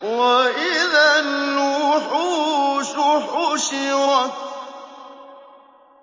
وَإِذَا الْوُحُوشُ حُشِرَتْ